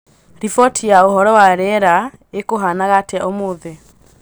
riboti ya ūhoro wa rīera īkuhanaga atia ūmūthi